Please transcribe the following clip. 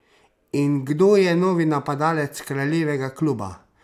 In kdo je novi napadalec kraljevega kluba?